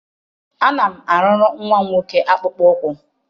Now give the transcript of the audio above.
Ana m arụrụ nwa m nwoke akpụkpọ ụkwụ maka